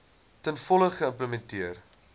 ten volle geïmplementeer